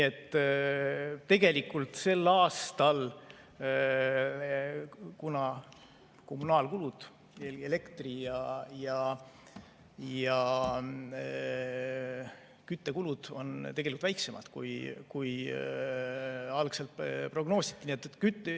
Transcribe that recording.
Tegelikult sel aastal on kommunaalkulud, elektri- ja küttekulud väiksemad, kui algselt prognoositi.